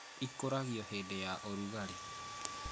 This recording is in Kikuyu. Ĩkũragwo hĩndĩ ya ũrugarĩ